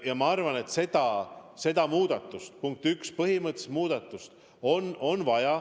Ma arvan, et seda muudatust, põhimõttelist muudatust on vaja.